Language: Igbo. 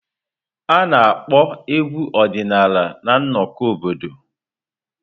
A na-akpọ egwu ọdịnala na nnọkọ obodo.